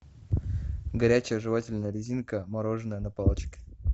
горячая жевательная резинка мороженое на палочке